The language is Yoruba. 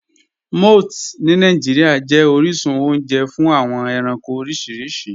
Mọ̀ths ni Nigeria jẹ̀ oríṣun ọ̀unje fún awọn ẹ̀ránkò oríṣiríṣì.